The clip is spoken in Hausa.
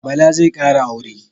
Bala zai kara aure